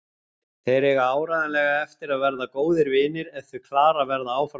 Þeir eiga áreiðanlega eftir að verða góðir vinir ef þau Klara verða áfram saman.